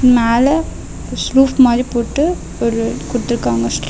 மேல ஸ்ருஃப் போட்டு ஒரு குடுத்துருக்காங்க.